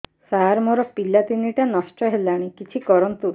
ସାର ମୋର ପିଲା ତିନିଟା ନଷ୍ଟ ହେଲାଣି କିଛି କରନ୍ତୁ